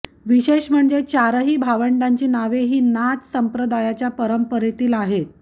विषेष म्हणजे चारही भावंडांची नांवे ही नाथ संप्रदायाच्या परंपरेतील आहेत